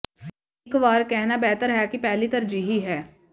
ਇਹ ਇਕ ਵਾਰ ਕਹਿਣਾ ਬਿਹਤਰ ਹੈ ਕਿ ਪਹਿਲੀ ਤਰਜੀਹੀ ਹੈ